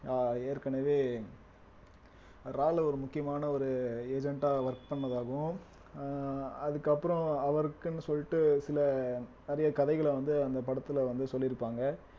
ஆஹ் ஏற்கனவே ஒரு முக்கியமான ஒரு agent ஆ work பண்ணதாகவும் அஹ் அதுக்கப்புறம் அவருக்குன்னு சொல்லிட்டு சில நிறைய கதைகளை வந்து அந்த படத்துல வந்து சொல்லிருப்பாங்க